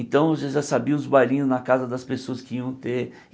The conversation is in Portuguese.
Então você já sabia os bailinhos na casa das pessoas que iam ter.